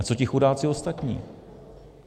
A co ti chudáci ostatní?